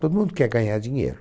Todo mundo quer ganhar dinheiro.